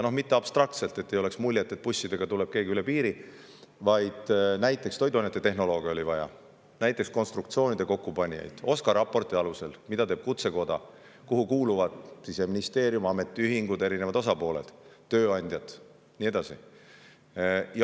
Mitte abstraktselt – et ei jääks muljet, et bussidega tuleb keegi üle piiri –, vaid näiteks toiduainetehnolooge oli vaja, konstruktsioonide kokkupanijaid oli vaja, ta rääkis OSKA raporti alusel, mida teeb Kutsekoda, kuhu Siseministeerium, ametiühingud, eri osapooled, tööandjad ja nii edasi.